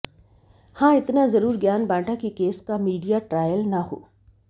हां इतना जरूर ज्ञान बांटा कि केस का मीडिया ट्रायल न हो